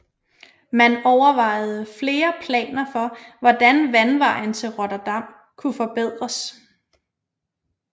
Man overvejede flere planer for hvordan vandvejen til Rotterdam kunne forbedres